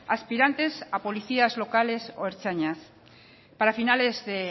aspirantes a policías locales o ertzainas para finales de